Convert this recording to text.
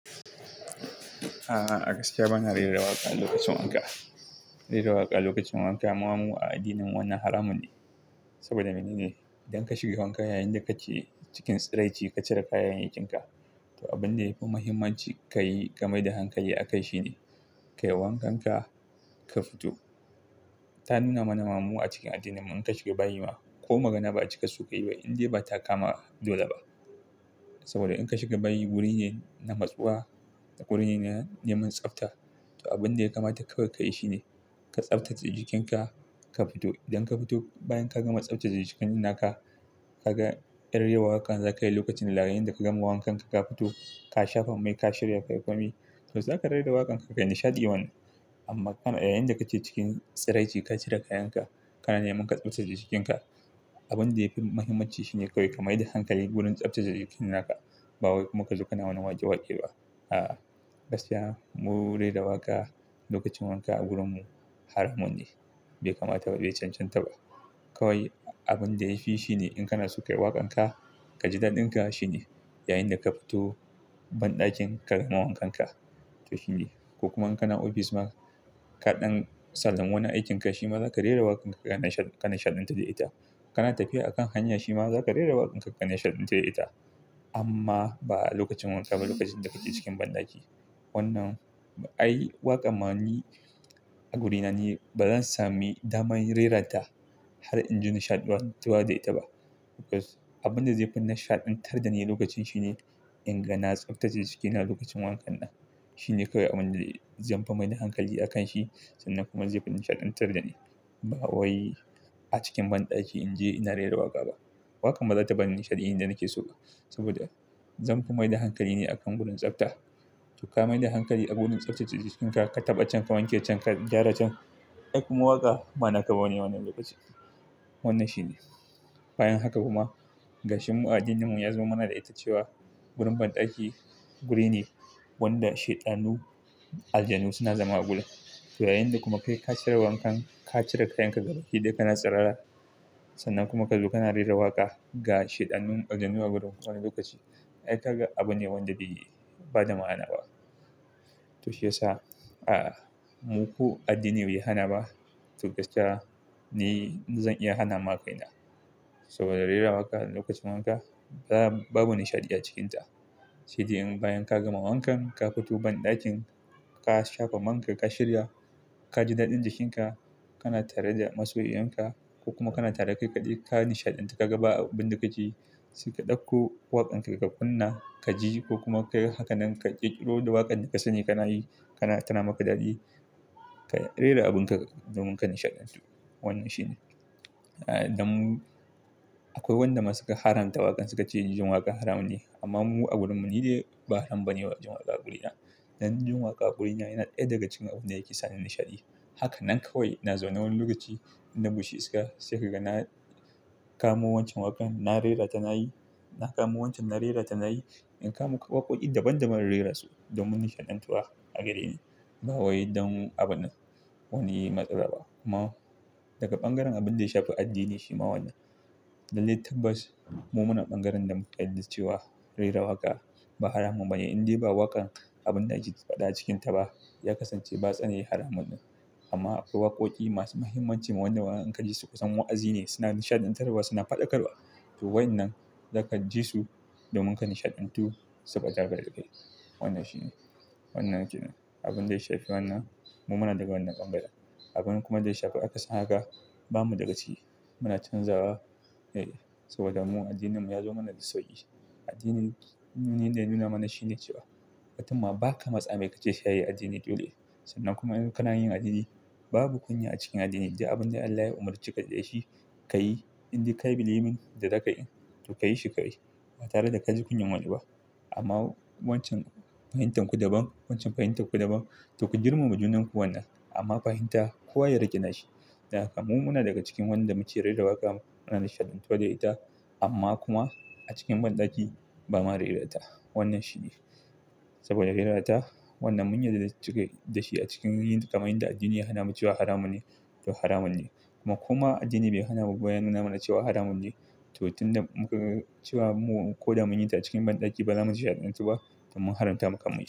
A'a, gaskiya bana rera waƙa lokacin wanka. Rera waƙa lokacin wanka ma mu a addinin wannan haramun ne. Saboda mene ne? Idan ka shiga wanka yayinda kake cikin tsiraici ka cire kayayyakinka, to abin da yafi muhimmanci ka yi ka maida hankali akai shine kai wankan ka, ka fito. Ta nuna mana Mamu a cikin addinin mu in ka shiga bayi ma ko magana ba'a cika sukayi ba inda bata kama dole ba. Saboda in ka shiga bayi wurin yana matsowa da wurin yana neman tsafta. To abin da yakamata kawai ka yi shine ka tsaftace jikinka, ka fito. Idan ka fito bayan ka gama tsaftace jikin naka, kaga yar rerawaƙan zakayi lokacin da yayinda ka gama wankan ka, ka fito ka shafa mai, ka shirya, ka yi kwami to zaka rera waƙan ka, ka yi nishadewan. Amma yayinda kake cikin tsiraici ka cire kayan ka, kana neman tsaftace jikinka, abin da yafi muhimmanci shine kawai ka maida hankali wurin tsaftace jikin naka ba kuma ka zo kana waje walƙa ba. A'a, gaskiya mu rera waƙa lokacin wanka a gurinmu haramun ne bai kamata ba, bai cancanta ba. Kawai abin da yafi shine in kana so ka yi waƙan ka, ka ji daɗin ka shine yayinda ka fito banɗakin ka gama wankan ka to shine. Kuma in kana ofis ma kaɗan sallami wanan aikin ka shi ma zaka rera waƙan ka kana nishadantar da ita. Kana tafiya a kan hanya shi ma zaka rera waƙan ka kana nishadantar da ita. Amma ba lokacin wanka ba lokacin da kake cikin banɗaki. Wannan ai waƙa mani a wurina ni bazan sami dama in reranta har in ji nishadantawa da ita ba. Because abin da zai fi nishadantar da ni lokacin shine in na tsaftace jikina lokacin wankan na. Shine kawai abin da zanfi maida hankali akanshi sannan kuma zai fi nishadantar da ni. Ba wai a cikin banɗaki in je ina rera waƙa ba. Waƙan bazata bani nishadiyi da nake so ba saboda zanfi maida hankali ne akan wurin tsafta. To ka maida hankali a wurin tsaftace jikinka, ka taɓa can, ka wanke can, ka gyara can, aikuma waka bana kabane wannan lokacin. Wannan shine. Bayan haka kuma gashinmu addininmu ya zo mana da ita cewa wurin banɗaki wuri ne wanda shaiɗanu aljanu suna zama a gurin. To yayinda kuma kai ka cire wankan, ka cire kayan ka duka hidda kana tsarara sannan kuma kazo kana rera waƙa ga shaiɗanun aljanu a gurin suna lokaci. Ai kaga abune wanda bai bada ma'ana ba. To shi yasa a muku addini bai hana ba to gaskiya ni zan iya hana ma kaina. Saboda rera waƙa lokacin wanka babu nishadi a cikinta. Shi dai in bayan ka gama wankan, ka fito banɗakin, ka shafa man ka, ka shirya, ka ji daɗin jikinka, kana tare da masoyi'inka ko kuma kana tare da kaikadai ka nishadantu ka gaba abin da kaci, ka ɗauko waƙan ka ka kunna ka ji ko kuma ka haka nan ka ƙeturo da waƙan da ka sani kana yi kana tana maka daɗi, ka rera abin ka domin ka nishadantu. Wannan shine. Dan akwai wanda musuka haranta waƙan suka ce jin waƙa haramun ne amma mu a gurinmu ni dai ba haram bane jin waƙa a guri na. Dan jin waƙa a guri na yana ai daga cikin abune yake sani nishadi. Haka nan kawai na zauna wani lokaci inda bishi suka sake ka na kama wancan waƙan na rerata na yi, na kama wancan na rerata na yi. In kamu waƙoƙi daban daban rera su domin nishadantawa a gareni. Ba wai dan abune wane matsala ba. Amma daga bangaren abin da ya shafi addini shi ma wannan. Dalilin tabbas mu muna bangaren da muka yarda cewa rera waƙa ba haramun bane inda ba waƙan abin da yake faɗa cikin ta ba ya kasance batsa ne haramun ne. Amma akwai waƙoƙi masu muhimmanci ma wanda waɗannan ka ji su kusan wa'azi ne suna nishadantarwa suna faɗakarwa. To waɗannan zaka ji su domin ka nishadantu saboda gagar kai. Wannan shine. Wannan yake nan. Abin da ya shafi wannan mu muna daga wannan bangaren. Abin kuma da ya shafi aka san haka bamu daga shi. Muna canzawa ne saboda mu addininmu ya zo mana da sauƙi. Addinin ni dai nuna mana shine cewa mutumma ba ka matsai mai kace shayi addini dole. Sannan kuma idan kana yin addini babu kunya a cikin addini. Ji abin da Allah ya umurceka da shi ka yi inda kai biliimin da zaka yi to ka yi shi ka yi ba tare da ka ji kunyan wani ba. Amma wancan fahimtar ku daban, wancan fahimtar ku daban to ku girmama junanku wannan. Amma fahimta kowa ya riƙe da shi. Daka mu muna daga cikin wanda muke rera waƙa muna nishadantawa da ita amma kuma a cikin banɗaki bamu rera da ita. Wannan shine. Saboda rerata wannan mun yadda zasu cika da shi a cikin yin kamun da addini ya hana mu cewa haramun ne to haramun ne. Kuma addini bai hana mu bayan nuna mana cewa haramun ne to tun da muka cewa mu ko da mun yi ta cikin banɗaki bazamu nishadantu ba to mun haramta maka mun yi.